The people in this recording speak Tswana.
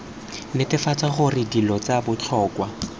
netefatsa gore dilo tsa botlhokwa